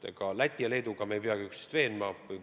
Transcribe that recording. Ega me Läti ja Leeduga ei peagi üksteist veenma.